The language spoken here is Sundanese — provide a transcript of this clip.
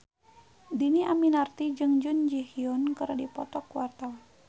Dhini Aminarti jeung Jun Ji Hyun keur dipoto ku wartawan